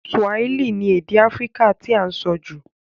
Swahili ni èdè Africa ti a n so jù